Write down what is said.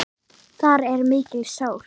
Þar er mikil sól.